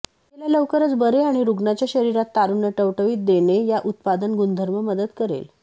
गेल्या लवकरच बरे आणि रुग्णाच्या शरीरात तारुण्य टवटवी इ देणे या उत्पादन गुणधर्म मदत करेल